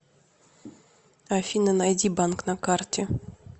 афина найди банк на карте